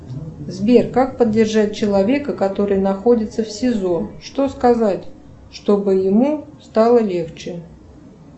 сбер как поддержать человека который находится в сизо что сказать чтобы ему стало легче